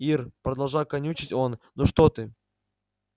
ир продолжал канючить он ну что ты